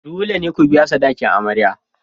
Dole ne ku biya sadakin amarya.